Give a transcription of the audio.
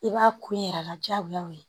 I b'a kun yɛrɛ la diyagoya o ye